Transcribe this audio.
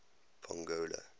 pongola